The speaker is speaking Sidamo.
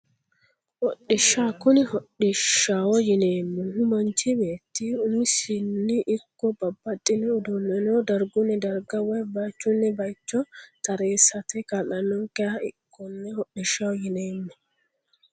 Hodhishsha kuni hodhishshaho yineemmohu manchi beetti umisino ikko babbaxxino uduunneno dargunni darga woyi baychunni baycho tareessate kaa'lannonkeha konne hodhishshaho yineemmo